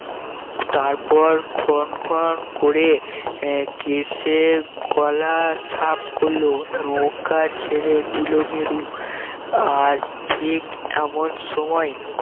তারপর খন খন করে আহ কেশে গলা সাফ করলো নৌকা ছেড়ে দিল গেদু আর ঠিক এমন সময়